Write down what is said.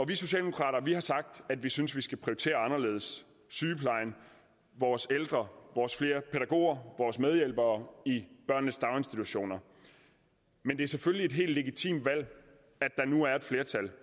vi socialdemokrater har sagt at vi synes man skal prioritere anderledes sygeplejen vores ældre flere pædagoger vores medhjælpere i børnenes daginstitutioner men det er selvfølgelig helt legitimt at der nu er et flertal